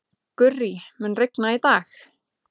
Gurrí, mun rigna í dag?